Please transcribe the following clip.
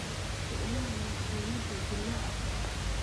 Isticmaal mashiinnada dillaaca fudud.